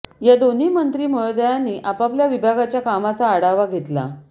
या दोन्ही मंत्री महोदयांनी आपापल्या विभागाच्या कामाचा आढावा घेतला